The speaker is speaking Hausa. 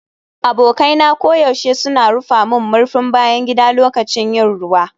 Abokai na koyaushe suna rufe murfin bayan gida lokacin yin ruwa.